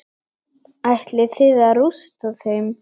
Ætlið þið að rústa þeim?